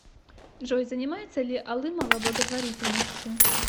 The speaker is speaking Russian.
джой занимается ли алымова благотворительностью